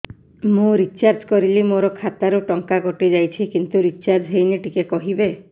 ମୁ ରିଚାର୍ଜ କରିଲି ମୋର ଖାତା ରୁ ଟଙ୍କା କଟି ଯାଇଛି କିନ୍ତୁ ରିଚାର୍ଜ ହେଇନି ଟିକେ କହିବେ